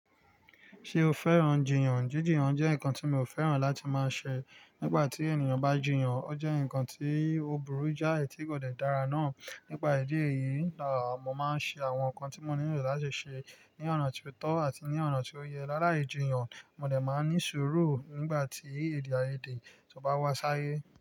Ṣé o fẹ́ran jìyàn? Jíjìyàn jẹ́ nǹkan tí mi ò fẹ́ràn láti máa ṣe nígbà tí ènìyàn bá jìyàn, ó jẹ́ nǹkan tí ó burú jáì tí kò dẹ dára náà. Nípa ìdí èyí laa, mo máa ń ṣe àwọn nǹkan tí mo nílò láti ṣe ní ọ̀nà tó tọ́ àti ní ọ̀nà tí ó yẹ. Lára ìjìyàn, mo dẹ̀ máa ní sùúrù nígbà tí èdè àìyedè tó bá wá sáyé.